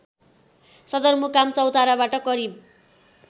सदरमुकाम चौताराबाट करिब